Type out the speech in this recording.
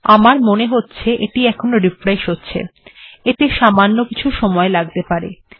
আমার মনে হচ্ছে এটি এখন রিফ্রেশ্ হচ্ছে এতে সামান্য কিছু সময় লাগতে পারে